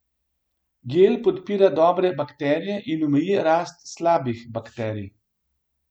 Gel podpira dobre bakterije in omeji rast slabih bakterij.